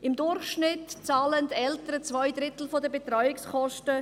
Im Durchschnitt zahlen die Eltern zwei Drittel der Betreuungskosten;